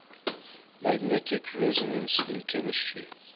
magnetic resonance in chemistry